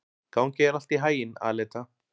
Gangi þér allt í haginn, Aleta.